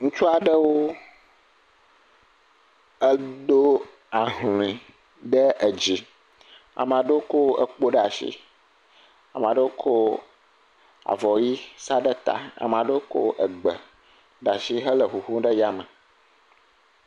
Ŋutsu aɖewo edo ahlɔ̃e ɖe dzi. Ame aɖewo ko kpo ɖe asi, ame aɖewo ko avɔ ʋi sa ɖe ta, ame aɖewo ko gbe ɖe asi hele ŋuŋum ɖe yame.